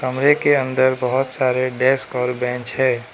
कमरे के अंदर बहोत सारे डेस्क और बेंच है।